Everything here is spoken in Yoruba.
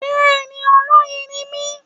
Bẹ́ẹ̀ni olóyè ni mí